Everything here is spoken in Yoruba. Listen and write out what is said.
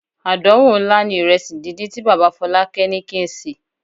Àdánwò ńlá ni ìrẹsì díndín tí bàbá Fọlákẹ́ ní kí n sè.